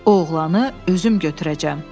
O oğlanı özüm götürəcəm.